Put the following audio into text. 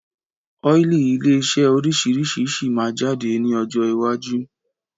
Ọ́ílì ilé iṣẹ́ oríṣiríṣi síí má jáde ní ọjọ́ iwájú